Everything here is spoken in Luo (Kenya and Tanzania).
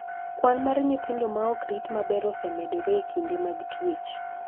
Kwan mar nyithindo ma ok rit maber osemedore e kinde mag twech.